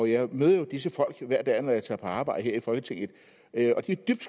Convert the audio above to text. jeg møder jo disse folk hver dag når jeg tager på arbejde her i folketinget og de er dybt